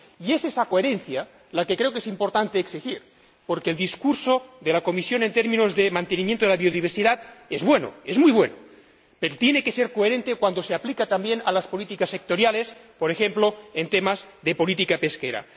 Y es esa coherencia la que creo que es importante exigir, porque el discurso de la Comisión en términos de mantenimiento de la biodiversidad es bueno, es muy bueno, pero tiene que ser coherente cuando se aplica también a las políticas sectoriales, por ejemplo, en temas de política pesquera.